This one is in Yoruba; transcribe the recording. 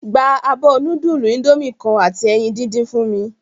Gba abo nudulu Indomie kan ati eyin didin fun mi!